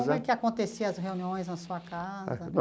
Como é que acontecia as reuniões na sua casa?